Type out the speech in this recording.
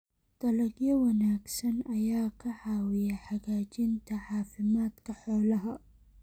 Dalagyo wanaagsan ayaa ka caawiya hagaajinta caafimaadka xoolaha.